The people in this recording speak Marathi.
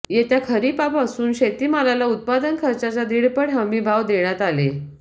येत्या खरीपापासून शेतीमालाला उत्पादन खार्चाच्या दीडपट हमीभाव देण्यात आले